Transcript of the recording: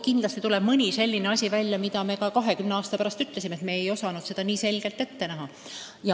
Kindlasti tuleb välja mõni selline asi, mille kohta me kahekümne aasta pärast ütleme, et me ei osanud seda nii selgelt ette näha.